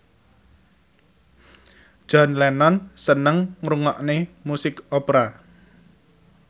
John Lennon seneng ngrungokne musik opera